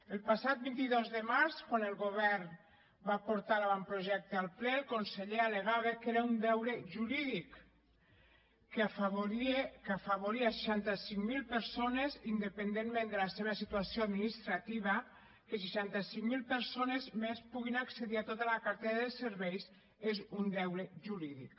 el passat vint dos de març quan el govern va portar l’avantprojecte al ple el conseller al·legava que era un deure jurídic que afavoria seixanta cinc mil persones independentment de la seva situació administrativa que seixanta cinc mil persones més puguin accedir a tota la cartera de serveis és un deure jurídic